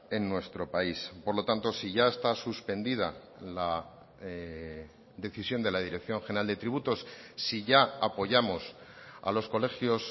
en nuestro país por lo tanto si ya está suspendida la decisión de la dirección general de tributos si ya apoyamos a los colegios